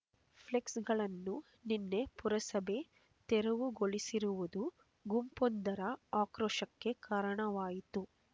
ಫ್ಲೆಕ್ಸ್‌ಗಳನ್ನು ನಿನ್ನೆ ಪುರಸಭೆ ತೆರವುಗೊಳಿಸಿರುವುದು ಗುಂಪೊಂದರ ಆಕ್ರೋಶಕ್ಕೆ ಕಾರಣವಾಯಿತು